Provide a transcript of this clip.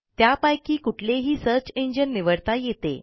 त्यापैकी कुठलेही search engine निवडता येते